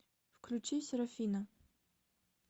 включи серафина